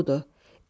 qürurludur.